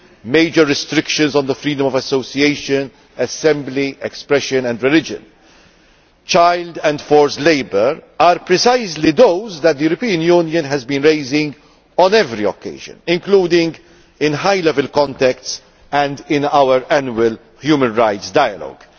major restrictions on the freedom of association, assembly, expression and religion, child and forced labour, are precisely those that the European Union has been raising on every occasion, including in high level contexts and in our annual human rights dialogue.